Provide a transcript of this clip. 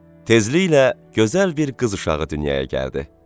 Tezliklə gözəl bir qız uşağı dünyaya gəldi.